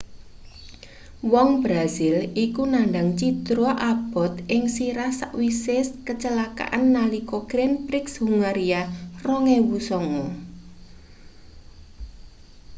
wong brazil iku nandhang cidra abot ing sirah sawise kecelakaan nalika grand prix hungaria 2009